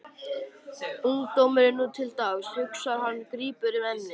Ungdómurinn nú til dags, hugsar hann og grípur um ennið.